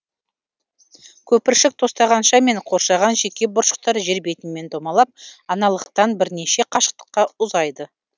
көпіршік тостағанша мен қоршаған жеке бұршақтар жер бетімен домалап аналықтан бірнеше қашықтыққа ұзайды